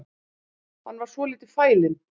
Hann var svolítið fælinn